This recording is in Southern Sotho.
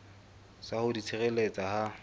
sa ho di tshireletsa ha